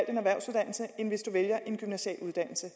en erhvervsuddannelse end hvis du vælger en gymnasial uddannelse